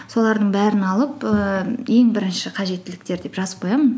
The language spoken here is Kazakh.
солардың бәрін алып ііі ең бірінші қажеттіліктер деп жазып қоямын